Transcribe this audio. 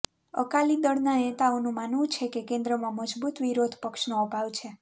અકાલી દળના નેતાઓનું માનવું છે કે કેન્દ્રમાં મજબૂત વિરોધ પક્ષનો અભાવ છે